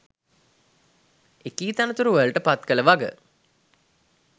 එකී තනතුරුවලට පත් කළ වග